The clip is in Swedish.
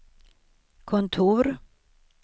kontor